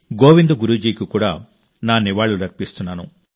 గోవింద్ గురు జీకి కూడా నా నివాళులర్పిస్తున్నాను